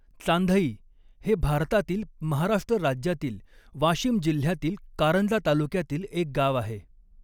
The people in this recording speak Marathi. चांधई हे भारतातील महाराष्ट्र राज्यातील वाशिम जिल्ह्यातील कारंजा तालुक्यातील एक गाव आहे.